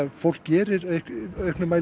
fólk gerir í auknum mæli